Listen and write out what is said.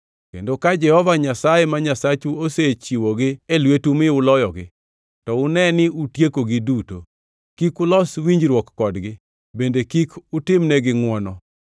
Kendo ka Jehova Nyasaye ma Nyasachu osechiwo gi e lwetu mi uloyogi, to une ni utiekogi duto. Kik ulos winjruok kodgi bende kik utimnegi ngʼwono.